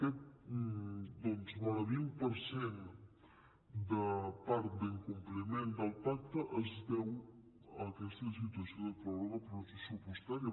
aquest doncs vora del vint per cent de part d’incompliment del pacte es deu a aquesta situació de pròrroga pressupostària